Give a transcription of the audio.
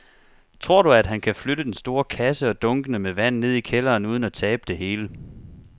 Tror du, at han kan flytte den store kasse og dunkene med vand ned i kælderen uden at tabe det hele?